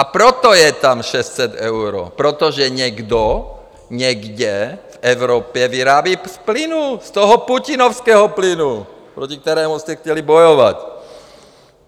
A proto je tam 600 eur, protože někdo někde v Evropě vyrábí z plynu, z toho putinovského plynu, proti kterému jste chtěli bojovat.